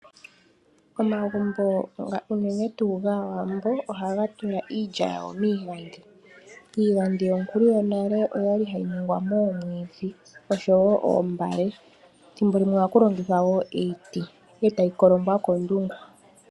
Omagumbo unene tuu gAawambo ohaga tula iilya yawo miigandhi. Iigandhi yonkulu yonale oyali hayi ningwa moomwiidhi osho wo oombale, ethimbolimwe ohaku longithwa wo iiti e tayi kolongwa koondungu.